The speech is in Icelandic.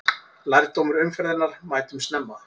Lærdómur umferðarinnar: Mætum snemma!